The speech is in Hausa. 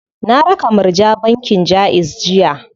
Na raka Murja bankin Jaiz jiya.